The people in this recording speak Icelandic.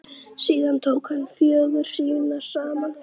Síðan tók hann föggur sínar saman.